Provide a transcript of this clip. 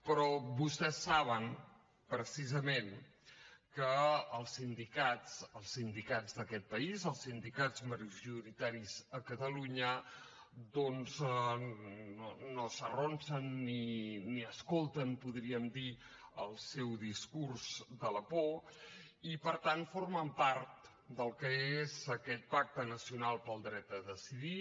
però vostès saben precisament que els sindicats els sindicats d’aquest país els sindicats majoritaris a catalunya doncs no s’arronsen ni escolten podríem dir el seu discurs de la por i per tant formen part del que és aquest pacte nacional pel dret a decidir